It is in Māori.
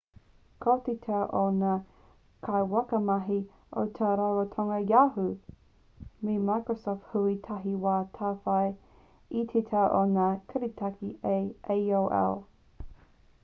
ko te tau o ngā kaiwhakamahi o ngā ratonga yahoo me microsoft hui tahi ka tāwhai i te tau o ngā kiritaki a aol